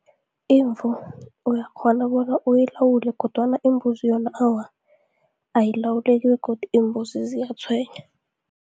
Imvu uyakghona bona uyilawule, kodwana imbuzi yona awa ayilawuleki begodu iimbuzi ziyatshwenya.